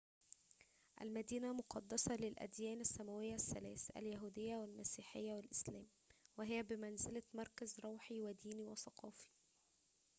المدينة مقدسة للأديان السماوية الثلاث اليهودية والمسيحية والإسلام وهي بمنزلة مركز روحي وديني وثقافي